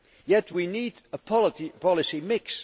policy. Yet we need a policy